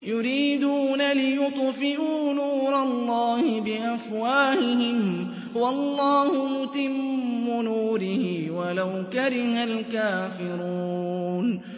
يُرِيدُونَ لِيُطْفِئُوا نُورَ اللَّهِ بِأَفْوَاهِهِمْ وَاللَّهُ مُتِمُّ نُورِهِ وَلَوْ كَرِهَ الْكَافِرُونَ